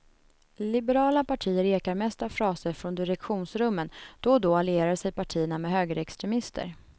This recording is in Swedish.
Liberala partier ekar mest av fraser från direktionsrummen, då och då allierar sig partierna med högerextremister.